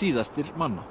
síðastir manna